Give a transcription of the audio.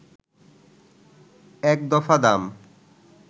এক দফা দাম